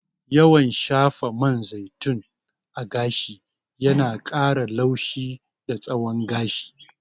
Yawan shafa man zaitun a gashi yana ƙara laushi da tsawon gashi.